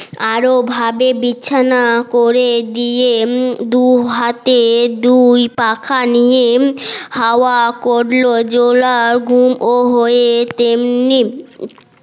আরো ভাবে বিছানা করে দিয়ে দুহাতে দুল পাখা নিয়ে হাওয়া করলো জোলা ঘুম অ হয়ে তেমনি